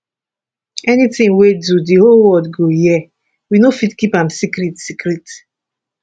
anytin we do di whole world go hear we no fit keep am secret secret